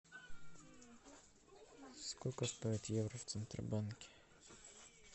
сколько стоит евро в центробанке